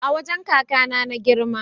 A wajan kakAna na girma